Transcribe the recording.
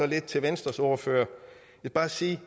lidt til venstres ordfører jeg vil bare sige